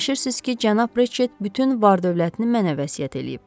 Fikirləşirsiz ki, cənab Reçet bütün var-dövlətini mənə vəsiyyət eləyib?